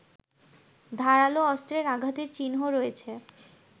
ধারালো অস্ত্রের আঘাতের চিহ্ন রয়েছে